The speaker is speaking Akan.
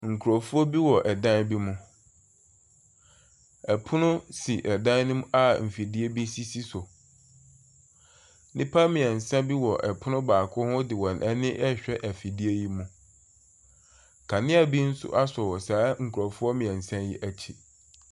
Nkurɔfoɔ bi wɔ dan bi mu, pono si dan ne mu a mfidie bi sisi so, nnipa mmiɛnsa bi wɔ pono baako ho de wɔn ani ɛrehwɛ afidie yi mu. Kanea bi nso asɔ wɔ saa nkurɔfoɔ mmiɛnsa yi akyi.